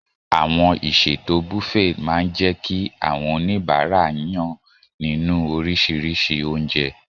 Àwọn ìṣètò Buffet máa ń jẹ́ kí àwọn oníbàárà yàn nínú oríṣiríṣi oúnjẹ.